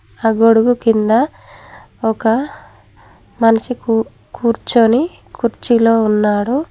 ఆ గొడుగు కింద ఒక మనిషి కు కూర్చొని కుర్చీలో ఉన్నాడు.